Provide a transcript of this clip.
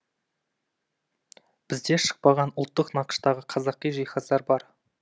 бізде шықпаған ұлттық нақыштағы қазақи жиһаздар бар